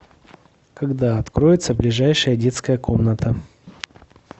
когда откроется ближайшая детская комната